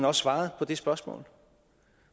også svaret på det spørgsmål